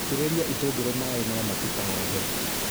itĩrĩria itũngũrũ maĩ no matikarahe.